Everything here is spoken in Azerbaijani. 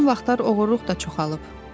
Son vaxtlar oğurluq da çoxalib.